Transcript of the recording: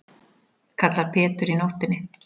kallar Pétur í nóttinni.